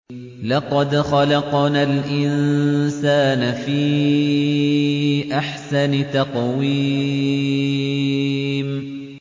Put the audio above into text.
لَقَدْ خَلَقْنَا الْإِنسَانَ فِي أَحْسَنِ تَقْوِيمٍ